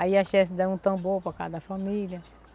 Aí a dava um tambor para cada família.